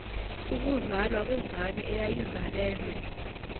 ukuzalwa kwengane eyayizalelwe